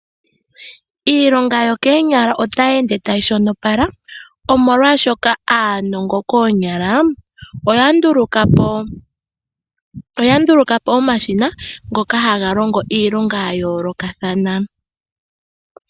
Iilonga yokoonyala otayi ende tayi shonopala omolwashoka aanongo koonyala oya nduluka po omashina ngoka haga longo iilonga ya yoolokathana.